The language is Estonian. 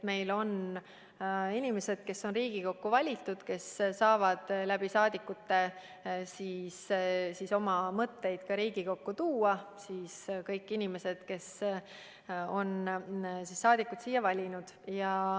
Meil on inimesed, kes on Riigikokku valitud, ja need, kes saavad rahvasaadikute kaudu oma mõtteid ka Riigikokku tuua, st kõik inimesed, kes on siia liikmeid valinud.